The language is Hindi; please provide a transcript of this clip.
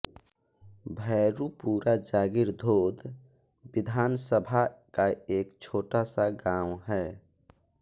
भैरुपुरा जागीर धोद विधानसभा का एक छोटा सा गावं है